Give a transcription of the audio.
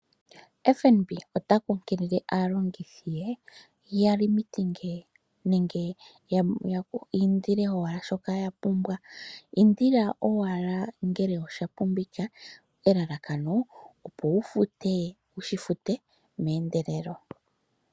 FNB ota kunkilile aalongithi ye, ya ingambeke nenge ya indile owala shoka ya pumbwa. Indila owala ngele sha pumbiwa, elalakano, opo wu vule oku shi shunitha meendelelo.